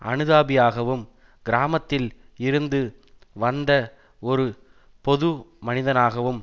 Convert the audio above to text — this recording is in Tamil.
அனுதாபியாகவும் கிராமத்தில் இருந்து வந்த ஒரு பொது மனிதனாகவும்